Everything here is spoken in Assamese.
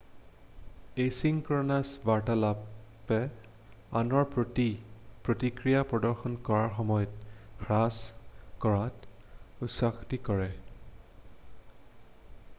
এছিংক্ৰনাছ বাৰ্তালাপে আনৰ প্ৰতি প্ৰতিক্ৰিয়া প্ৰদৰ্শন কৰাৰ সময় হ্ৰাস কৰাত উৎসাহিত কৰে